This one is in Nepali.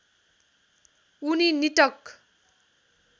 उनी निटक